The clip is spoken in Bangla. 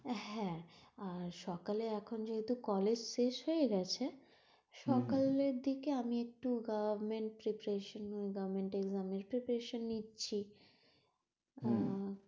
আর হ্যাঁ সকালে এখন যেহেতু কলেজ শেষ হয়ে গেছে সকালের দিকে আমি একটু government preparation নিয়ে government exam এর preparation নিচ্ছি আহ